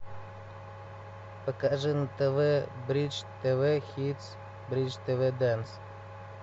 покажи на тв бридж тв хитс бридж тв дэнс